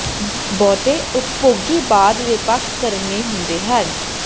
ਬਹੁਤੇ ਉਪਭੋਗੀ ਬਾਅਦ ਦੇ ਪੱਖ ਕਰਨ ਲਈ ਹੁੰਦੇ ਹਨ